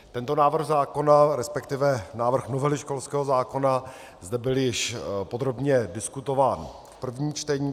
Tento návrh zákona, respektive návrh novely školského zákona, zde byl již podrobně diskutován v prvním čtení.